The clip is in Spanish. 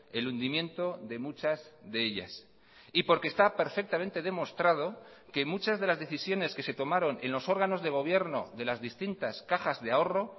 el hundimiento de muchas de ellas y porque está perfectamente demostrado que muchas de las decisiones que se tomaron en los órganos de gobierno de las distintas cajas de ahorro